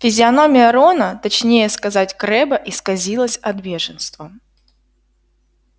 физиономия рона точнее сказать крэбба исказилась от бешенства